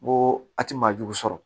N ko a ti maajugu sɔrɔ